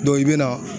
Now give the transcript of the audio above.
i bɛna